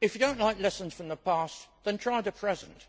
If you do not like lessons from the past, then try the present.